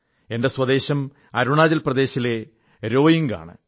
എന്റെ സ്വദേശം അരുണാചൽ പ്രദേശിലെ രോഇംഗ് ആണ്